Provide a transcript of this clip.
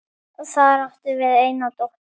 Þar áttum við eina dóttur.